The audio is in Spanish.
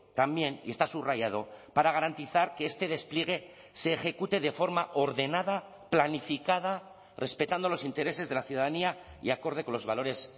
también y está subrayado para garantizar que este despliegue se ejecute de forma ordenada planificada respetando los intereses de la ciudadanía y acorde con los valores